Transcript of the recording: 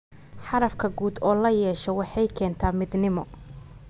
Hadafka guud oo la yeesho waxay keentaa midnimo.